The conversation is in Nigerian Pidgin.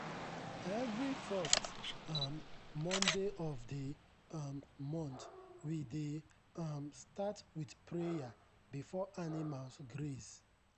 every first um monday of the um month we dey um start with prayer before animals graze.